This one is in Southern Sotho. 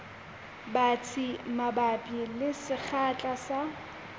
batsi mabapi le sekgahla sa